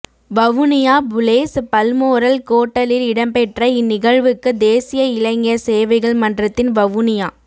வவுனியா புலேஸ் பல்மோரல் கோட்டலில் இடம்பெற்ற இந் நிகழ்வுக்கு தேசிய இளைஞர் சேவைகள் மன்றத்தின் வவுனியா